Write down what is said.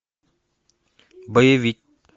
боевик